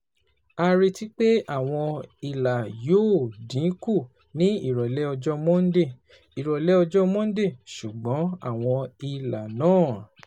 A retí pé àwọn ìlà yóò dín kù ní ìrọ̀lẹ́ ọjọ́ Monday, ìrọ̀lẹ́ ọjọ́ Monday, ṣùgbọ́n àwọn ìlà náà